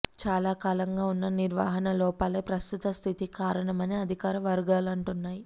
చాలాకాలంగా ఉన్న నిర్వహణ లోపాలే ప్రస్తుత స్థితికి కారణమని అధికార వర్గాలంటున్నాయి